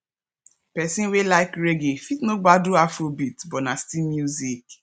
person wey like reggae fit no gbadu afrobeats but na still music